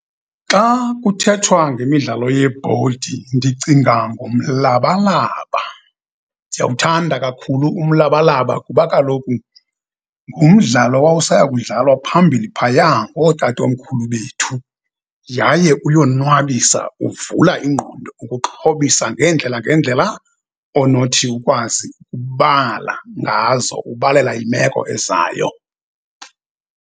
Xa kuthethwa ngemidlalo yebhodi ndicinga ngomlabalaba. Ndiyawuthanda kakhulu umlabalaba kuba kaloku ngumdlalo wawusaya kudlalwa phambili phayaa ngootatomkhulu bethu yaye uyonwabisa, uvula ingqondo, ukuxhobisa ngeendlela ngeendlela onothi ukwazi ukubala ngazo, ubalela imeko ezayo.